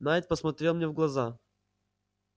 найд посмотрел мне в глаза